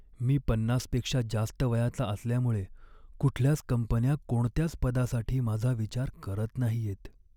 मी पन्नास पेक्षा जास्त वयाचा असल्यामुळे कुठल्याच कंपन्या कोणत्याच पदासाठी माझा विचार करत नाहीयेत.